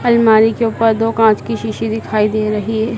अलमारी के ऊपर दो कांच की शीशी दिखाई दे रही है।